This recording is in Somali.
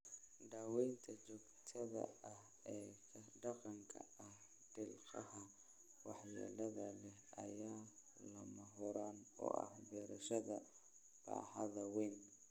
Daawaynta joogtada ah ee ka dhanka ah dhiqlaha waxyeelada leh ayaa lama huraan u ah beerashada baaxadda weyn.